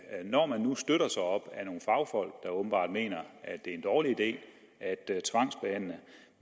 når man nu støtter sig op ad nogle fagfolk der åbenbart mener at det er en dårlig idé